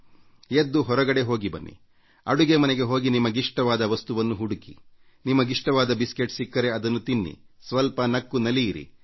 ಎದ್ದು ಹೊರಗಡೆ ಹೋಗಿ ಬನ್ನಿಅಡುಗೆ ಮನೆಗೆ ಹೋಗಿ ನಿಮಗಿಷ್ಟವಾದ ವಸ್ತುವನ್ನು ಹುಡುಕಿ ನಿಮಗಿಷ್ಟವಾದ ಬಿಸ್ಕೆಟ್ ಸಿಕ್ಕರೆ ಅದನ್ನು ತಿನ್ನಿರಿ ನಗೆ ಚಟಾಕಿ ಆಲಿಸಿ ಇಲ್ಲ ಹೇಳಿಸ್ವಲ್ಪ ನಕ್ಕು ನಲಿಯಿರಿ